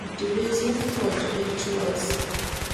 The reason for di rituals